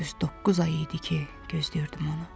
Düz doqquz ay idi ki, gözləyirdim onu.